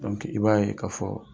I b'a ye ka fɔ